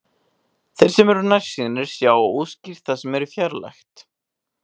Þeir sem eru nærsýnir sjá óskýrt það sem er fjarlægt.